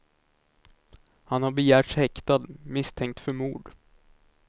Han har begärts häktad, misstänkt för mord.